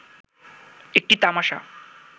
একটি তামাশা